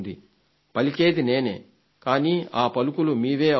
పలికేది నేనే కానీ ఆ పలుకులు మీవే అవుతాయి